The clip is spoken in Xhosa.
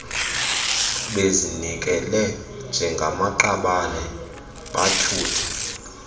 bezinikele njengamaqabane bathuthe